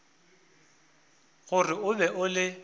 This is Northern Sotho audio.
gore o be o le